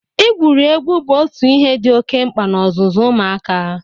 Igwuri egwu bụ ọtụ ihe dị oke mkpa n'ọzụzụ ụmụaka.